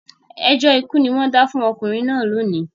Ẹjọ́ ikú ni wọ́n dá fún ọkùnrin náà lónìí